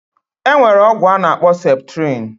Enwere ogwu anakpo septrin